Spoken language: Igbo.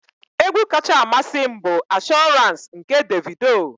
Egwu kacha amasị m bụ Assurance nke Davido.